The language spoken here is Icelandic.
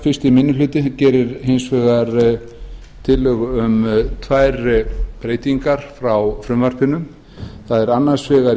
fyrsti minni hlutinn gerir hins vegar tillögu um tvær breytingar á frumvarpinu það er annars vegar